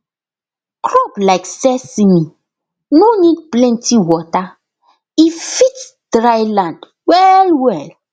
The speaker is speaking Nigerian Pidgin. crop like sesame nor need plenty water e fit dryland well well